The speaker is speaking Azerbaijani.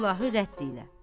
Silahı rədd elə!